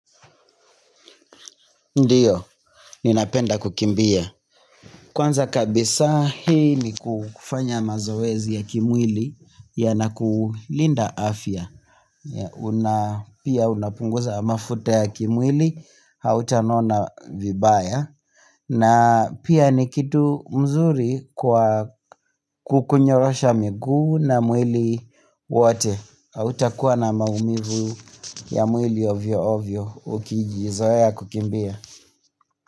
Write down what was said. Ndiyo, ninapenda kukimbia kwanza kabisa hii ni kufanya mazoezi ya kimwili yanakulinda afya Pia unapunguza mafuta ya kimwili hautanona vibaya na pia ni kitu mzuri kwa kukunyorosha miguu na mwili wote hautakuwa na maumivu ya mwili ovyo ovyo ukijizoea kukimbia.